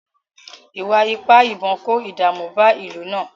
Ìwà ipá ìbọn kó ìdààmú bá ìlú náà